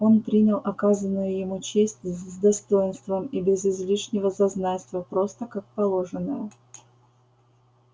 он принял оказанную ему честь с достоинством и без излишнего зазнайства просто как положенное